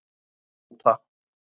Tóta